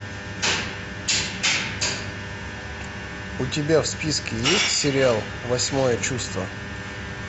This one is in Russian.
у тебя в списке есть сериал восьмое чувство